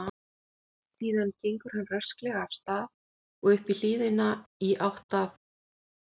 Síðan gengur hann rösklega af stað inn og upp hlíðina í átt að